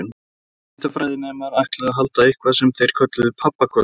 Viðskiptafræðinemar ætluðu að halda eitthvað sem þeir kölluðu pabbakvöld.